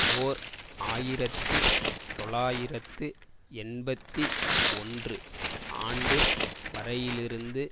ஓர் ஆயிரத்தி தொள்ளாயிரத்து எண்பத்தி ஒன்று ஆண்டு வரையிலிருந்து